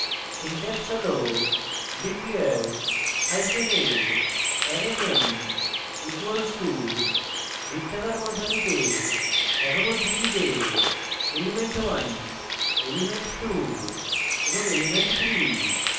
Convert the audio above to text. syntax হল declare hyphen a arrayname equal to বৃত্তাকার বন্ধনীতে একক উদ্ধৃতিতে element1 element2 এবং element3